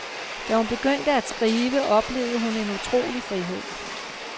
Da hun begyndte at skrive, oplevede hun en utrolig frihed.